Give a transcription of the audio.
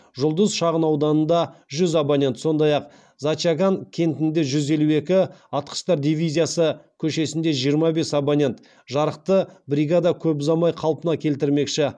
жұлдыз шағынауданында сондай ақ зачаган кентінде жүз елу екі атқыштар дивизиясы көшесінде жарықты бригада көп ұзамай қалпына келтірмекші